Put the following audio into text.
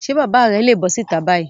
Ṣé bàbá rẹ̀ le bọ́ síta báyìí?